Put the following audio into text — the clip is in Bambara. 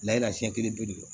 Layi lasɛnɲɛ kelen bɛɛ de don